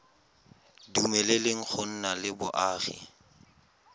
dumeleleng go nna le boagi